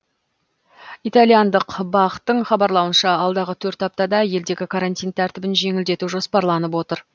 италияндық бақ тың хабарлауынша алдағы төрт аптада елдегі карантин тәртібін жеңілдету жоспарланып отыр